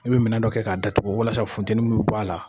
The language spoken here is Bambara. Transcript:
I bɛ minɛ dɔ kɛ k'a da tugu walasa funtɛnin munnu b'ala.